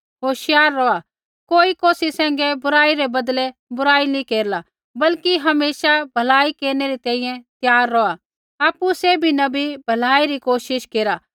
होशियार रौहा कोई कौसी सैंघै बुराई रै बदलै बुराई नी केरला बल्कि हमेशा भलाई केरनै री तैंईंयैं त्यार रौहा आपु सैभी न बी भलाई री कोशिश केरा